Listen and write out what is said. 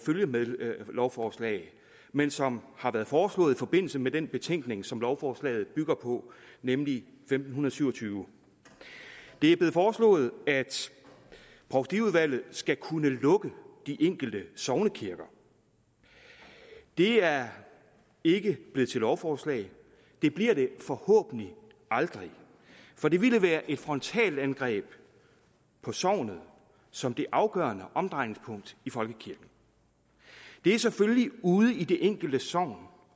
følgelovforslag men som har været foreslået i forbindelse med den betænkning som lovforslaget bygger på nemlig femten syv og tyve det er blevet foreslået at provstiudvalget skal kunne lukke de enkelte sognekirker det er ikke blevet til lovforslag det bliver det forhåbentlig aldrig for det ville være et frontalangreb på sognet som det afgørende omdrejningspunkt i folkekirken det er selvfølgelig ude i det enkelte sogn